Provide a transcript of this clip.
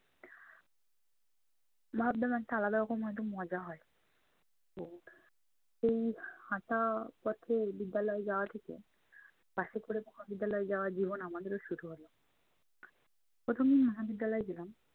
ভাবলাম একটা আলাদা রকম একটা মজা হয়। তো এই হাঁটা পথে বিদ্যালয়ে যাওয়া থেকে, বাসে করে মহাবিদ্যালয়ে যাওয়া জীবন আমাদেরও শুরু হলো। প্রথম দিন মহাবিদ্যালয়ে গেলাম